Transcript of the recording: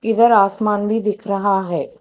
इधर आसमान भी दिख रहा है।